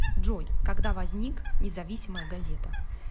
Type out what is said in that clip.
джой когда возник независимая газета